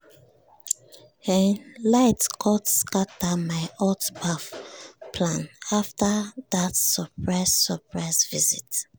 um light cut scatter my hot baff plan after that surprise surprise visit.